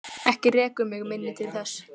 Ekki rekur mig minni til þess.